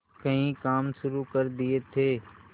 कई काम शुरू कर दिए थे